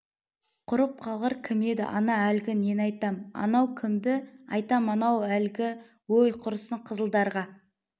құрып қалғыр кім еді ана әлгі нені айтам анау кімді айтам анау әлгі өй құрысын қызылдарға